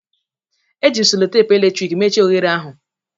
Eji m selotape eletrik mechie oghere ahụ